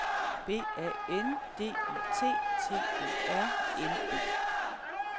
B A N D I T T E R N E